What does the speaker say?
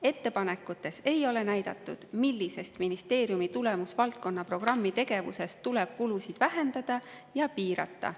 Ettepanekutes ei ole näidatud, millise ministeeriumi tulemusvaldkonna programmi tegevuse kulusid tuleb vähendada ja piirata.